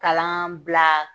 Kalan bila